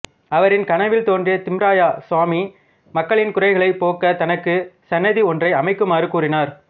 அவரின் கனவில் தோன்றிய திம்மராய சுவாமி மக்களின் குறைகளைப் போக்க தனக்கு சந்நிதி ஒன்றை அமைக்குமாறு கூறினார்